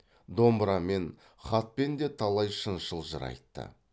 домбырамен хатпен де талай шыншыл жыр айтты